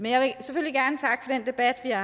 jeg